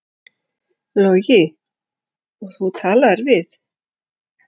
Logi: Og þú talaðir við?